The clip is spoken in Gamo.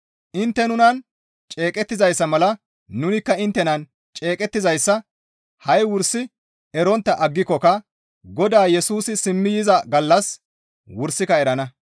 Intte nunan ceeqettizayssa mala nunikka inttenan ceeqettizayssa ha7i wursi erontta aggikokka Godaa Yesusi simmi yiza gallas wursika erana.